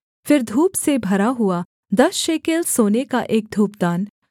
फिर धूप से भरा हुआ दस शेकेल सोने का एक धूपदान